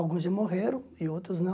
Alguns já morreram e outros não.